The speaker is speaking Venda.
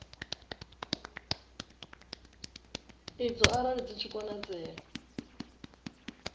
idzo arali zwi tshi konadzea